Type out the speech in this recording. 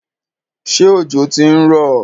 Ṣé òjò ti ń rọ̀?